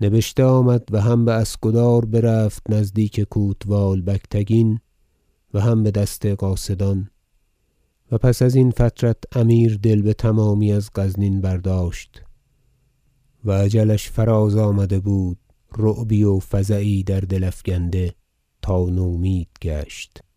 نبشته آمد و هم باسکدار برفت نزدیک کوتوال بگتگین و هم بدست قاصدان و پس ازین فترت امیر دل بتمامی از غزنین برداشت و اجلش فراز آمده بود رعبی و فزعی در دل افگنده تا نومید گشت